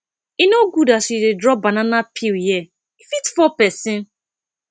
e no good as you dey drop banana peel here e fit fall pesin